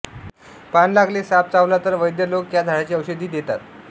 पान लागले साप चावला तर वैद्य लोक या झाडाची औषधी देतात